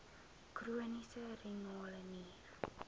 chroniese renale nier